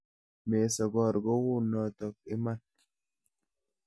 Mesokor kou noto iman.